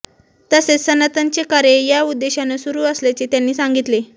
तसेच सनातनचे कार्य या उद्देशाने सुरू असल्याचे त्यांनी सांगितले